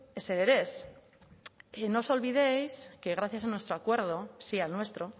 ezer ere ez y no os olvidéis que gracias a nuestro acuerdo sí al nuestro